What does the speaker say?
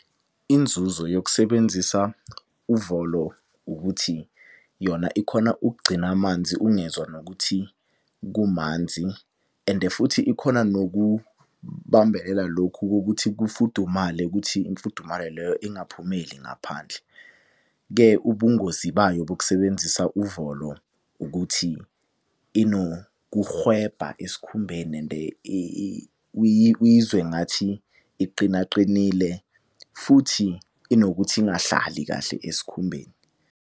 Inzuzo yokusebenzisa uvolo ukuthi yona ikhona ukugcina amanzi ungezwa nokuthi kumanzi and futhi ikhona nokubambelela lokhu kokuthi kufudumale ukuthi imfudumalo leyo ingaphumeli ngaphandle. Ke ubungozi bayo bokusebenzisa uvolo ukuthi inokuhwebha esikhumbeni and uyizwe ngathi iqina qinile, futhi inokuthi ingahlali kahle esikhumbeni.